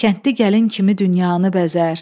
Kəndli gəlin kimi dünyanı bəzər.